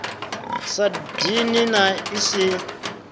sa dini na i si